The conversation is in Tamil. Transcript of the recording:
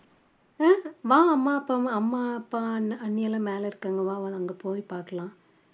உம் வா அம்மா அப்பா அம்மா, அப்பா, அண்ணன், அண்ணியெல்லாம் மேல இருக்காங்க வா வா அங்க போய் பாக்கலாம்